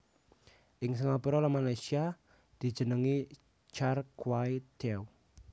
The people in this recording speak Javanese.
Ing Singapura lan Malaysia dijenengi Char Kway Teow